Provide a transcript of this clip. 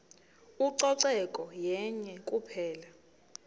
ucoceko yenye kuphela